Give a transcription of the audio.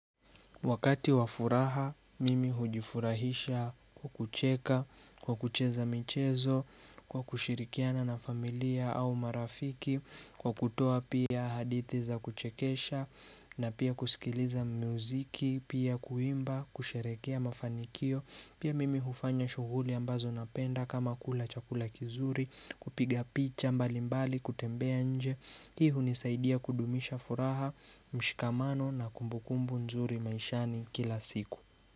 Wakati wa furaha, mimi hujifurahisha, kucheka, kwa kucheza michezo, kushirikiana na familia au marafiki, kwa kutoa pia hadithi za kuchekesha, na pia kusikiliza muziki, pia kuimba, kusherekea mafanikio. Pia mimi hufanya shughuli ambazo napenda kama kula chakula kizuri, kupiga picha mbali mbali, kutembea nje. Hii hunisaidia kudumisha furaha, mshikamano na kumbukumbu nzuri maishani kila siku.